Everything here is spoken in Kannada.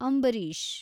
ಅಂಬರೀಷ್